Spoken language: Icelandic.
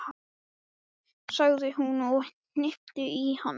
sagði hún og hnippti í hann.